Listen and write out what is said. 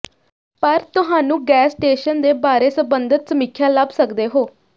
ਪਰ ਤੁਹਾਨੂੰ gas station ਦੇ ਬਾਰੇ ਸੰਬੰਧਤ ਸਮੀਖਿਆ ਲੱਭ ਸਕਦੇ ਹੋ